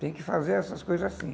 Tem que fazer essas coisas assim.